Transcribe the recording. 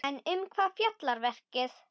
En um hvað fjallar verkið?